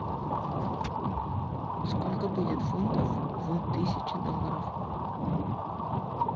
сколько будет фунтов в тысяче долларов